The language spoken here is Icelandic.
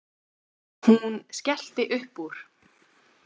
Hún skellti upp úr.